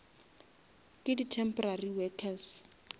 ke di temporary workers